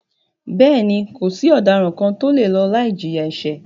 Bẹ́ẹ̀ni, kò sí ọ̀daràn kàn tí o le lọ láì jìyà ẹ̀ṣẹ̀.